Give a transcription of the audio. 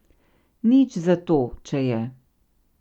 Nič zato, če je.